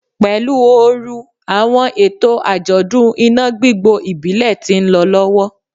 Pelu ooru, awọn eto fun ajọdun ina gbigbo ibile ti nlọ lọwọ